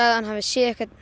hann hefði séð einhvern